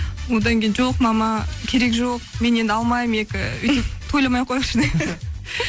одан кейін жоқ мама керек жоқ мен енді алмаймын екі өйтіп тойламай ақ қояйықшы